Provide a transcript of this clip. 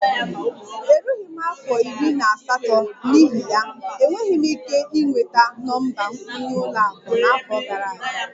Erughị m afọ iri na asatọ, n'ihi ya, enweghị m ike ịnweta nọmba nkwenye ụlọ akụ n'afọ gara aga